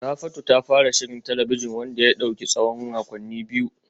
Rafatu ta fara shirin talabijin wanda ya dauki tsawon makonni biyu kacal